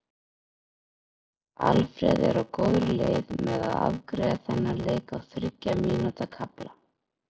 Alfreð er á góðri leið með að afgreiða þennan leik á þriggja mínútna kafla.